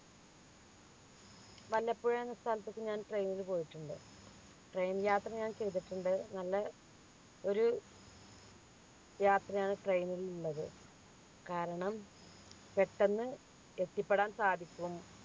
വല്ലപ്പുഴ എന്ന സ്ഥലത്തേക്ക് ഞാൻ train ൽ പോയിട്ടുണ്ട് train യാത്ര ഞാൻ ചെയ്തിട്ടുണ്ട് നല്ല ഒരു യാത്രയാണ് train ൽ ഉള്ളത് കാരണം പെട്ടെന്ന് എത്തിപ്പെടാൻ സാധിക്കും